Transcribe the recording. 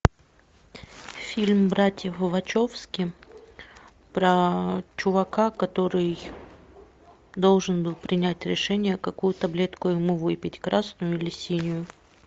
фильм братьев вачовски про чувака который должен был принять решение какую таблетку ему выпить красную или синюю